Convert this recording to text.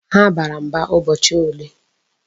Ha bara mba ụbọchị ole?